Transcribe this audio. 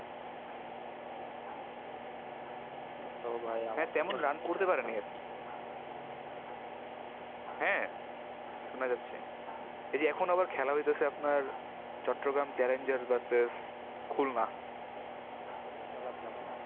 তো ভাই হ্যাঁ তেমন run করতে পারেনি আর কি। হ্যাঁ শোনা যাচ্ছে? এই যে এখন আবার খেলা হইতাছে আপনার চট্টগ্রাম challengers verses খুলনা। তো খেলা কেমন হচ্ছে তেমন run করতে পারিনে আর কি?